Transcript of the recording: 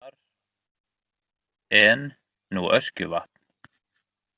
Þar en nú Öskjuvatn.